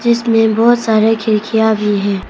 जिसमें बहुत सारे खिड़कियां भी है।